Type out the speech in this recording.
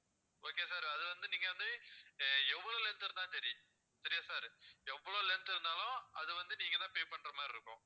okay sir அது வந்து நீங்க எவ்வளோ length இருந்தாலும் சரி சரியா sir எவ்வளோ length இருந்தாலும் அது வந்து நீங்க தான் pay பண்ற மாதிரி இருக்கும்